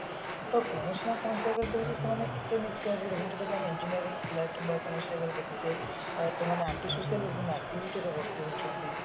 ସେ ତ କୌଣସି ନା କୌଣସି ଜାଗାରେ ଦେଖୁଛେ ସେମାନେ ଏତେ engineering ପିଲା ଦେଖୁଛେ ସେମାନେ antisocial activities ରେ ଭର୍ତି ହଉଛନ୍ତି